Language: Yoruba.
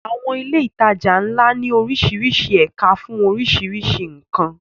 Àwọn ilé ìtajà ńlá ní oríṣiríṣi ẹ̀ka fún oríṣiríṣi nǹkan.